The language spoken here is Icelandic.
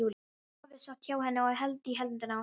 Afi sat hjá henni og hélt í hendina á henni.